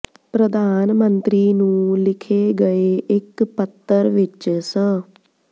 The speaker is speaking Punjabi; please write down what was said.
ਪ੍ਰਧਾਨ ਮੰਤਰੀ ਨੂੰ ਲਿਖੇ ਗਏ ਇੱਕ ਪੱਤਰ ਵਿੱਚ ਸ